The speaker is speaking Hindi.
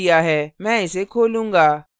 मैं इसे खोलूँगा